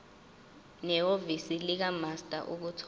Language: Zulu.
nehhovisi likamaster ukuthola